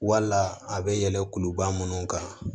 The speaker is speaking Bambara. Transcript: Wala a bɛ yɛlɛn kuluba minnu kan